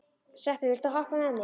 Sveppi, viltu hoppa með mér?